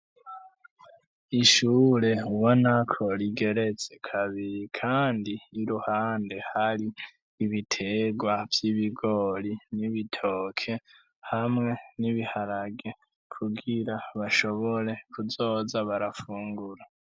Ishure ubona ko rigeretse kabiri kandi iruhande hari ibiterwa vy'ibigori n'ibitoke, hamwe n'ibiharage kugira bashobore kuzoza barafungura.